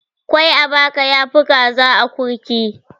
Kwai a baka yafi kaza a akurki.